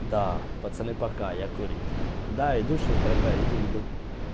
да пацаны пока я курить да иду сейчас дорогая иду-иду